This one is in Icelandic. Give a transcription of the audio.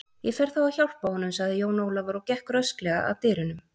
Ég fer þá að hjálpa honum, sagði Jón Ólafur og gekk rösklega að dyrunum.